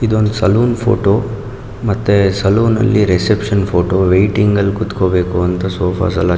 ಇದೊಂದು salon photo ಮತ್ತೆ salon ಅಲ್ಲಿ ರಿಸೆಪ್ಶನ್ ಫೋಟೋ ವೈಟಿಂಗ್ ಅಲ್ಲಿ ಕುತಕೋಬೇಕು ಅಂತ ಸೋಫಾಸ್ ಎಲ್ಲಾ--